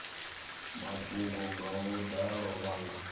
mafhungo nga vhudalo vha nga